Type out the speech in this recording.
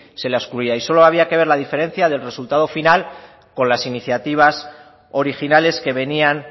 se la excluía y solo había que ver la diferencia del resultado final con las iniciativas originales que venían